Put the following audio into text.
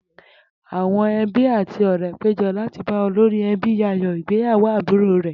Àwo̩n e̩bí àti ò̩ré̩ pé jo̩ láti bá olórí e̩bí yayò̩ ìgbéyàwó àbúrò rè̩